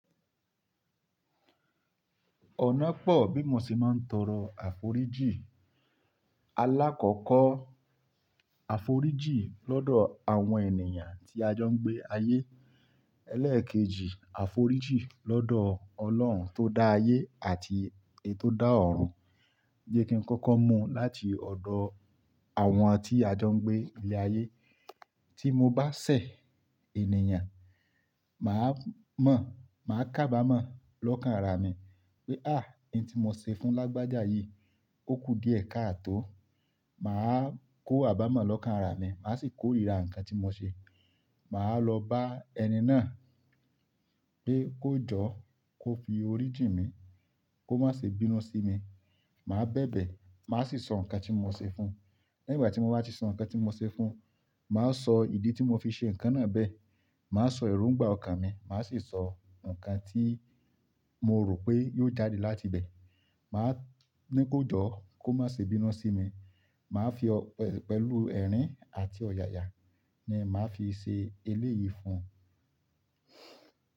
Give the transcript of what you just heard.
Ọ̀nà pọ̀ bí mo ṣe máa ń tọrọ àforíjì. Alákọ̀ọ́kọ́ àforíjì lọ́dọ̀ àwọn ènìyàn tí a jọ ń gbé ayé. Ẹlẹ́ẹ̀kejì àforíjì lọ́dọ̀ Ọlọ́run tó dá ayé àti èyí tó dá ọ̀run. Jẹ́ kí n kọ́kọ́ mú láti ọ̀dọ̀ àwọn tí a jọ ń gbé ilé ayé. Tí mo bá ṣẹ̀ ènìyàn, màá mọ̀, màá kábàmọ̀ lọ́kàn ara mi pé "à, ohun tí mo ṣe fún lágbájá yìí, ó kú díẹ̀ ká à tó." Màá kó àbámọ̀ lọ́kàn ara mi, màá sì kó ríra nǹkan tí mo ṣe. Màá lọ bá ẹni náà pé kó jọ́, kó fi orí jì mí, kó má ṣe bínú sí mi. Màá bẹ̀bẹ̀, màá sì sọ nǹkan tí mo ṣe fún un. Nígbà tí mo bá ti sọ nǹkan tí mo ṣe fún un, màá sọ ìdí tí mo fi ṣe nǹkan náà bẹ́ẹ̀. Màá sọ èróǹgbà ọkàn mi, màá sì sọ nǹkan tí mo rò pé yóò jáde láti bẹ́ẹ̀. Màá ní kó jọ́, kó má ṣe bínú sí mi. Màá fi pẹ̀lú ẹ̀rín àti ọ̀yàyà ni màá fi ṣe eléyìí fún un.